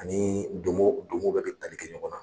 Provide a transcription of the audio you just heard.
Ani donmo donmo bɛɛ bi tali kɛ ɲɔgɔn na.